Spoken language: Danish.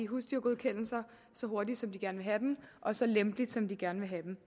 husdyrgodkendelser så hurtigt som de gerne vil have dem og så lempelige som de gerne vil have dem